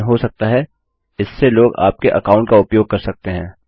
लेकिन हो सकता है इससे लोग आपके अकाउंट का उपयोग कर सकते है